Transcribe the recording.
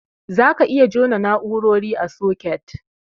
Zaka iya jona na'urori a soket.